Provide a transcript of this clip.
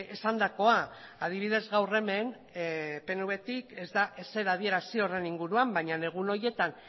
esandakoa adibidez gaur hemen pnvtik ez da ezer adierazi horren inguruan baina egun horietan